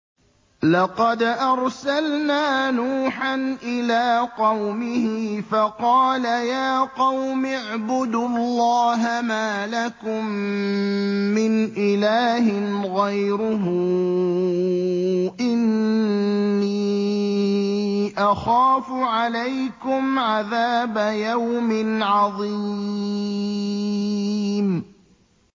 لَقَدْ أَرْسَلْنَا نُوحًا إِلَىٰ قَوْمِهِ فَقَالَ يَا قَوْمِ اعْبُدُوا اللَّهَ مَا لَكُم مِّنْ إِلَٰهٍ غَيْرُهُ إِنِّي أَخَافُ عَلَيْكُمْ عَذَابَ يَوْمٍ عَظِيمٍ